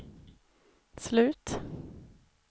slut